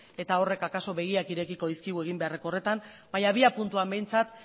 eta horrek akaso begiak irekiko dizkigu egin beharreko horretan baina abiapuntuan behintzat